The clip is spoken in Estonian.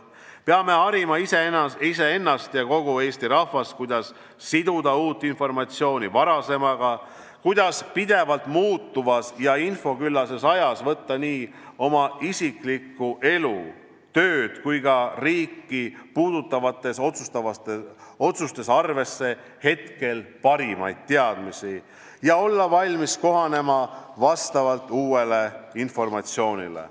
" Peame harima iseennast ja kogu Eesti rahvast, kuidas siduda uut informatsiooni varasemaga; kuidas pidevalt muutuvas ja infoküllases ajas võtta nii oma isiklikku elu, tööd kui ka riiki puudutavates otsustes arvesse hetkel parimaid teadmisi ja olla valmis kohanema vastavalt uuele informatsioonile.